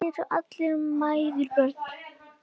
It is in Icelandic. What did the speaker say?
Kannski eru allar mæður börn.